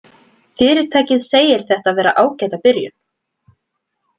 Fyrirtækið segir þetta vera ágæta byrjun